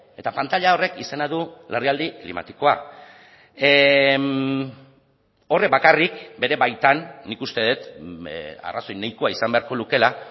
eta pantaila horrek izena du larrialdi klimatikoa horrek bakarrik bere baitan nik uste dut arrazoi nahikoa izan beharko lukeela